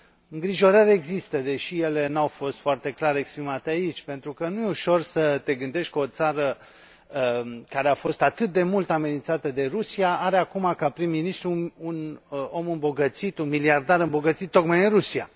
Îngrijorări există, deși ele nu au fost foarte clar exprimate aici, pentru că nu e ușor să te gândești că o țară care a fost atât de mult amenințată de Rusia are acum ca prim ministru un om îmbogățit, un miliardar îmbogățit tocmai în Rusia.